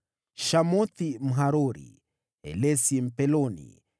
Shamothi Mharori, Helesi Mpeloni,